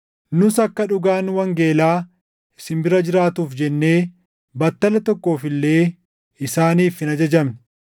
Nus akka dhugaan wangeelaa isin bira jiraatuuf jennee battala tokkoof illee isaaniif hin ajajamne.